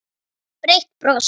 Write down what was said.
Breitt bros.